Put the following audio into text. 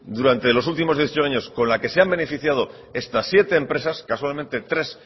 durante los últimos dieciocho años con la que se han beneficiado estas siete empresas casualmente tres